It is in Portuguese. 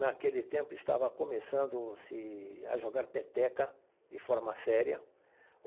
Naquele tempo estava começando-se a jogar peteca de forma séria o.